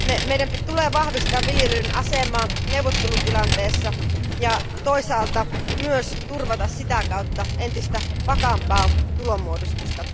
Meidän tulee vahvistaa viljelijöiden asemaa neuvottelutilanteessa ja toisaalta myös turvata sitä kautta entistä vakaampaa tulonmuodostusta.